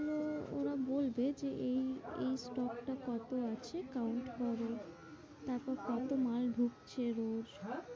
ওরা বলবে যে এই এই stock টা কত আছে, count হবে তারপরে কত মাল ঢুকছে রোজ,